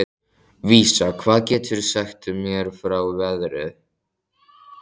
Vísa, hvað geturðu sagt mér um veðrið?